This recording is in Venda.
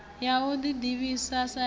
ya u ḓi ḓivhisa ya